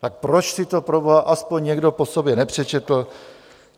Tak proč si to proboha aspoň někdo po sobě nepřečetl?